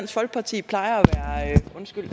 folkeparti plejer